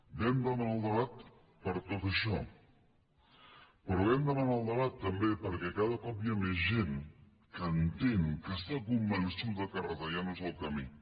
vam demanar el debat per tot això però vam demanar el debat també perquè cada cop hi ha més gent que entén que està convençuda que retallar no és el camí